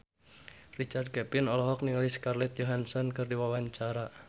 Richard Kevin olohok ningali Scarlett Johansson keur diwawancara